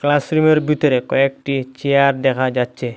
ক্লাসরুমের বিতরে কয়েকটি চেয়ার দেখা যাচ্ছে।